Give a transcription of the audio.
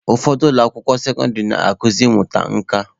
Ụfọdụ ụlọ akwụkwọ sekọndịrị na-akuzi ịmụta nka.